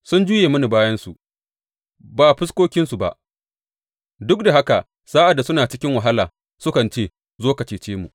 Sun juye mini bayansu ba fuskokinsu ba; duk da haka sa’ad da suna cikin wahala, sukan ce, Zo ka cece mu!’